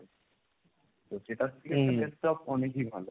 তো সেটার থেকে একটা desktop অনেকই ভালো।